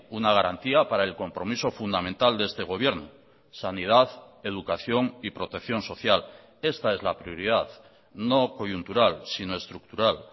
una garantía para el compromiso fundamental de este gobierno sanidad educación y protección social esta es la prioridad no coyuntural sino estructural